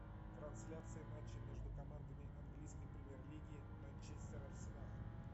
трансляция матча между командами английской премьер лиги манчестер арсенал